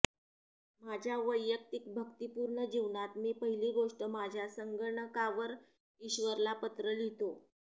माझ्या वैयक्तिक भक्तीपूर्ण जीवनात मी पहिली गोष्ट माझ्या संगणकावर ईश्वरला पत्र लिहितो